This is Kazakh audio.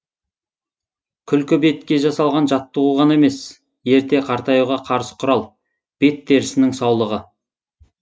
күлкі бетке жасалған жаттығу ғана емес ерте қартаюға қарсы құрал бет терісінің саулығы